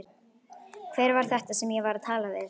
Hver var þetta sem ég var að tala við?